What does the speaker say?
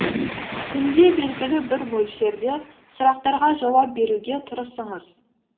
күнде белгілі бір мөлшерде сұрақтарға жауап беруге тырысыңыз